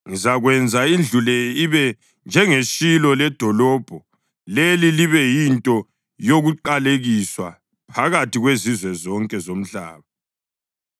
ngizakwenza indlu le ibe njengeShilo ledolobho leli libe yinto yokuqalekiswa phakathi kwezizwe zonke zomhlaba.’ ”